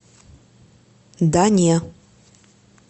да не